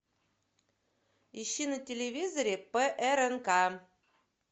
ищи на телевизоре прнк